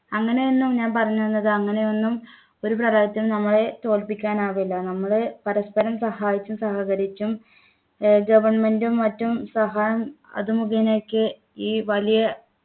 അങ്ങനെയൊന്നും ഞാൻ പറഞ്ഞത് അങ്ങനെയൊന്നും ഒരു പ്രളയത്തിനും നമ്മളെ തോൽപ്പിക്കാൻ ആവില്ല നമ്മൾ പരസ്പരം സഹായിച്ചും സഹകരിച്ചും ഏർ government ഉം മറ്റും സഹായം അത് മുഖേന ഒക്കെ ഈ വലിയ